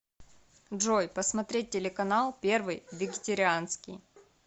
джой посмотреть телеканал первый вегетарианский